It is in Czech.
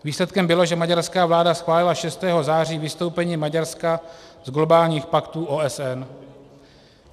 Výsledkem bylo, že maďarská vláda schválila 6. září vystoupení Maďarska z globálních paktů OSN.